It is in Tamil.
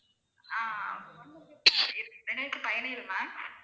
ஆஹ் இரண்டாயிரத்து பதினேழு ma'am